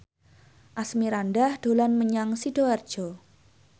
Asmirandah dolan menyang Sidoarjo